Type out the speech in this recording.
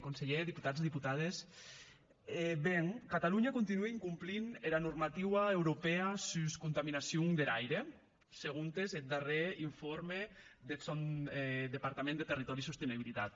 conselhèr deputats deputades ben catalonha continue incomplint era normativa europèa sus contaminacion der aire segontes eth darrèr informe deth sòn departament de territori i sostenibilitat